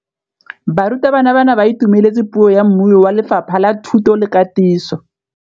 Barutabana ba ne ba itumeletse puô ya mmui wa Lefapha la Thuto le Katiso.